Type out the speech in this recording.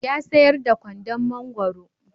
Ya sayar da kwandon mangwaro.